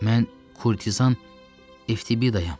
Mən Kurtizan Eftibiyayam.